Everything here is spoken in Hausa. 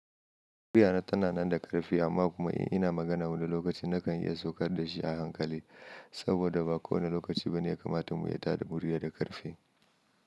Muriya na tana nan da ƙarfe amma kuma ina magana wani lokaci nakan iya saukar da shi a hankali saboda ba kowane lokaci bane ya kamata mu yi tada murya da ƙarfe.